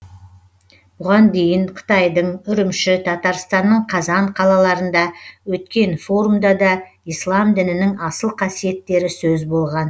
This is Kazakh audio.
бұған дейін қытайдың үрімші татарстанның қазан қалаларында өткен форумда да ислам дінінің асыл қасиеттері сөз болған